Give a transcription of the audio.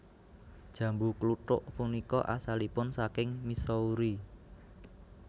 Jambu kluthuk punika asalipun saking Missouri